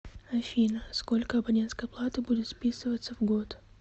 афина сколько абонентской платы будет списываться в год